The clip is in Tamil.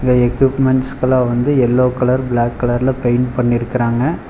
எக்யூப்மென்ட்ஸ்ஸுக்கெல்லா வந்து எல்லோ கலர் பிளாக் கலர்ல பெயிண்ட் பண்ணிருக்குறாங்க.